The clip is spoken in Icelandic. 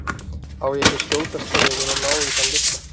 Á ég ekki að skjótast niður og ná í þann litla?